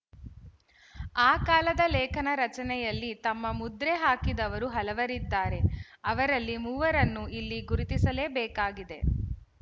ಆ ಕಾಲದ ಲೇಖನ ರಚನೆಯಲ್ಲಿ ತಮ್ಮ ಮುದ್ರೆ ಹಾಕಿದವರು ಹಲವರಿದ್ದಾರೆ ಅವರಲ್ಲಿ ಮೂವರನ್ನು ಇಲ್ಲಿ ಗುರುತಿಸಲೇಬೇಕಾಗಿದೆ